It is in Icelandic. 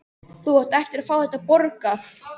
Þú átt eftir að fá þetta borgað!